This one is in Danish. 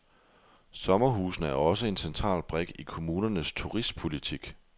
Sommerhusene er også en central brik i kommunernes turistpolitik.